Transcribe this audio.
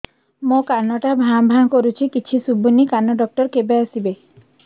ମୋ କାନ ଟା ଭାଁ ଭାଁ କରୁଛି କିଛି ଶୁଭୁନି କାନ ଡକ୍ଟର କେବେ ଆସିବେ